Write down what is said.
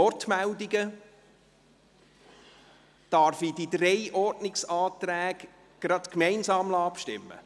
– Darf ich diese drei Ordnungsanträge gleich gemeinsam zur Abstimmung bringen?